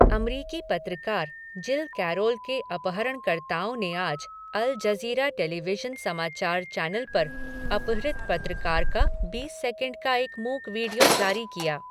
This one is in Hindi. अमरीकी पत्रकार, जिल कैरोल के अपहरणकर्ताओं ने आज अल जज़ीरा टेलीविशन समाचार चैनल पर अपहृत पत्रकार का बीस सेकंड का एक मूक वीडियो जारी किया।